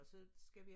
Og så skal vi